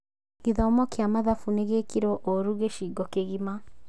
Gĩthomo kĩa mathabu nĩ gĩekirwo ũũru gĩcigo kĩgima